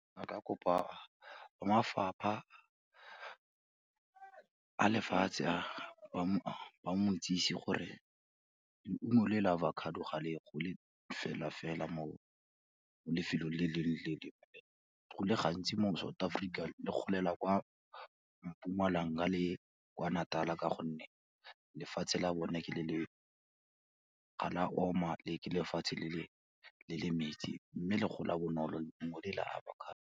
A ka kopa ba mafapha a lefatshe a, ba mo itsisi gore leungo le la avocado ga le gole fela-fela, mo lefelong le lengwe le le lengwe, go le gantsi mo South Africa le golela kwa Mpumalanga le kwa Natal-a ka gonne lefatshe la bone ke le le, ga la oma le ke lefatshe le le metsi mme le gola bonolo leungo le la avocado.